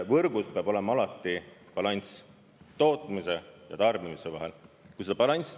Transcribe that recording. Võrgus peab olema alati balanss tootmise ja tarbimise vahel.